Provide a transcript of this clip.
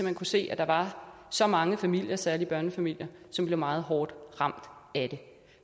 hen kunne se at der var så mange familier særlig børnefamilier som blev meget hårdt ramt af det